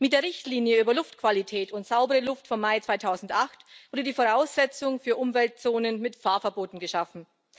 Mit der Richtlinie über Luftqualität und saubere Luft vom Mai 2008 wurde die Voraussetzung für Umweltzonen mit Fahrverboten geschaffen.